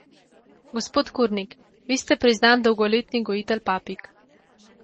Gospod Kurnik, vi ste priznan dolgoletni gojitelj papig.